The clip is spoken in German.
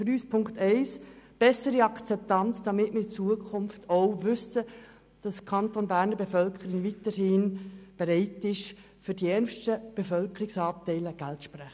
Punkt eins ist für uns also die bessere Akzeptanz, damit wir künftig wissen, dass die Bevölkerung des Kantons Bern weiterhin bereit ist, für die ärmsten Bevölkerungsanteile Geld zu sprechen.